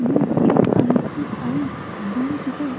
यह एक ICI. Bank है।